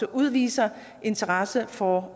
at udvise interesse for